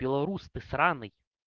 беларус ты сраный